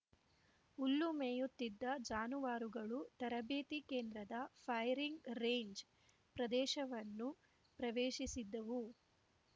ಹುಲ್ಲು ಮೇಯುತ್ತಿದ್ದ ಜಾನುವಾರುಗಳು ತರಬೇತಿ ಕೇಂದ್ರದ ಫೈರಿಂಗ್‌ ರೇಂಜ್‌ ಪ್ರದೇಶವನ್ನು ಪ್ರವೇಶಿಸಿದ್ದವು